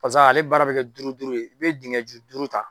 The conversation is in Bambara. Paseke ale baara bɛ kɛ duuru duuru ye i bɛ dingɛ ju duuru ta.